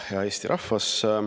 Hea Eesti rahvas!